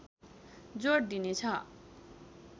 जोड दिनेछ